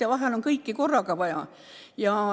Ja vahel on mitut abi korraga vaja.